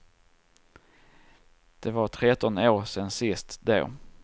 Det var tretton år sen sist då.